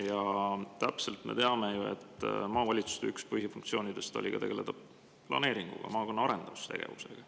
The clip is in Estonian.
Ja me teame täpselt, et üks maavalitsuste põhifunktsioone oli tegeleda planeeringuga, maakonna arendustegevusega.